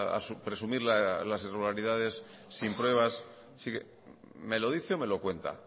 a su presumir las irregularidades sin pruebas me lo dice o me lo cuenta